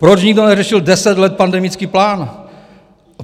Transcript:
Proč nikdo neřešil deset let pandemický plán?